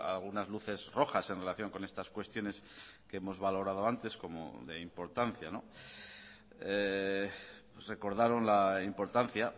algunas luces rojas en relación con estas cuestiones que hemos valorado antes como de importancia recordaron la importancia